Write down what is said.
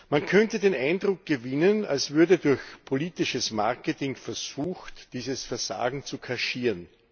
Man könnte den Eindruck gewinnen, als würde durch politisches Marketing versucht, dieses Versagen zu kaschieren.